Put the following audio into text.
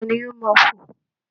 Ta ni ó máa fo?